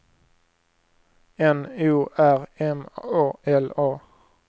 N O R M A L A